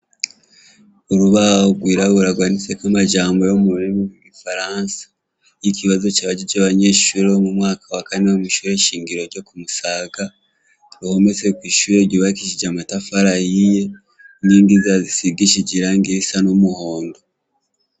Urubaho gwiraburabu gwanditsek' amajambo yo mururimi gwigifaransa, ikibazo c' abajij' abanyeshure bo mu mwaka wa kane bo mw' ishure shingiro ryo kumusaga, bometse kw'ishure rifis' amatafar' ahiye n 'yind' irangi risigishije risa n'umuhondo.